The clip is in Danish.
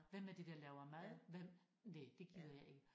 Hvem er det der laver mad hvem næh det gider jeg ikke